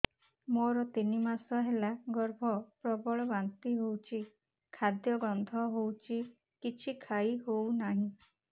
ମୋର ତିନି ମାସ ହେଲା ଗର୍ଭ ପ୍ରବଳ ବାନ୍ତି ହଉଚି ଖାଦ୍ୟ ଗନ୍ଧ ହଉଚି କିଛି ଖାଇ ହଉନାହିଁ